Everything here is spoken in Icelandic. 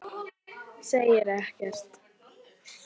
Hún hörfar til hliðar.